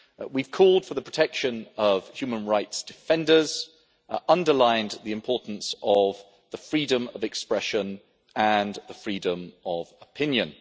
We have called for the protection of human rights defenders, and underlined the importance of the freedom of expression and the freedom of opinion.